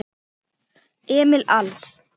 Emil Als.